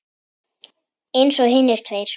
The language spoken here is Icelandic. Eins og hinir tveir.